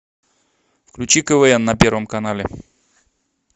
включи квн на первом канале